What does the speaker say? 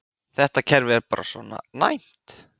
Þetta kerfi er bara svona næmt.